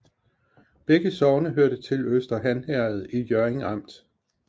Begge sogne hørte til Øster Han Herred i Hjørring Amt